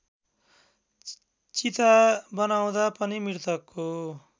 चिता बनाउँदा पनि मृतकको